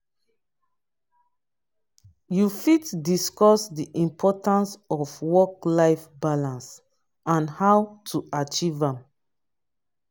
you fit discuss di importance of work-life balance and how to achieve am.